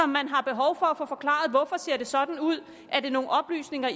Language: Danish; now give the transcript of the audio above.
man har behov for at få forklaret hvorfor de ser sådan ud er det nogen oplysninger